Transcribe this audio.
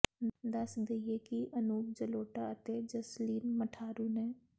ਦੱਸ ਦੇਈਏ ਕਿ ਅਨੂਪ ਜਲੋਟਾ ਅਤੇ ਜਸਲੀਨ ਮਠਾਰੂ ਨੇ